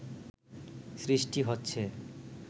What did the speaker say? সৃষ্টি হচ্ছে